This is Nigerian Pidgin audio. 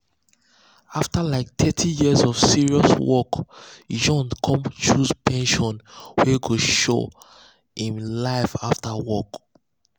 after like thirty years of serious work john con choose pension wey go sure him life after work.